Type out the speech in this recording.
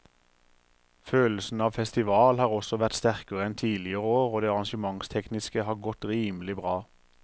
Følelsen av festival har også vært sterkere enn tidligere år og det arrangementstekniske har godt rimelig bra.